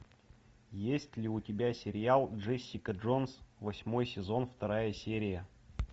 есть ли у тебя сериал джессика джонс восьмой сезон вторая серия